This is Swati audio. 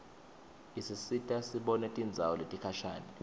isisita sibone tindzawo letikhashane